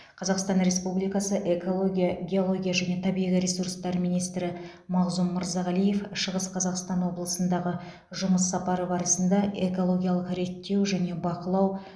қазақстан республикасы экология геология және табиғи ресурстар министрі мағзұм мырзағалиев шығыс қазақстан облысындағы жұмыс сапары барысында экологиялық реттеу және бақылау